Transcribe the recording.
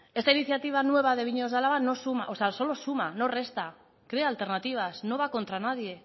esta iniciativa nueva de viñedos de álava no suma o sea solo suma no resta crea alternativas no va contra nadie